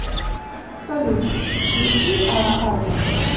салют включи ара альба